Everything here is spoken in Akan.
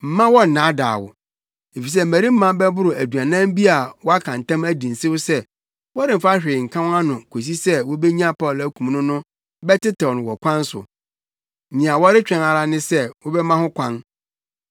Mma wɔnnaadaa wo. Efisɛ mmarima bɛboro aduanan bi a wɔaka ntam adi nsew sɛ wɔremfa hwee nka wɔn ano kosi sɛ wobenya Paulo akum no no bɛtetew no wɔ ɔkwan so. Nea wɔretwɛn ara ne sɛ wobɛma ho kwan.”